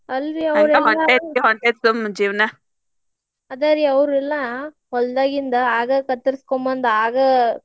ಅಲ್ರಿ ಅದ ರೀ ಅವ್ರೆಲ್ಲಾ ಹೋಲ್ಡಾಗಿಂದ ಆಗ ಕತ್ತರ್ಸ್ಕೊಂಡ್ ಬಂದ್ ಆಗ.